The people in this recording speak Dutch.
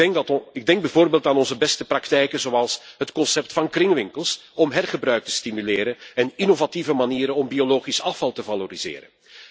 Ik denk bijvoorbeeld aan onze beste praktijken, zoals het concept van kringwinkels om hergebruik te stimuleren en innovatieve manieren om biologisch afval te valoriseren.